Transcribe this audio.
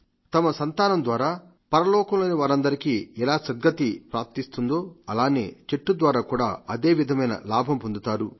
తమ సంతానం ద్వారా పరలోకంలో వారందరికీ సద్గతి ప్రాప్తిస్తుందో చెట్టు ద్వారా కూడా అదే విధమైన లాభంపొందుతారు